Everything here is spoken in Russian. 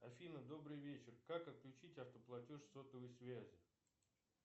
афина добрый вечер как отключить автоплатеж сотовой связи